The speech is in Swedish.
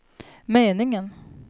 meningen